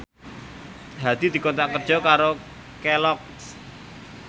Hadi dikontrak kerja karo Kelloggs